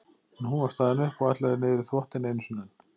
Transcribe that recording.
En hún var staðin upp og ætlaði niður í þvottinn einu sinni enn.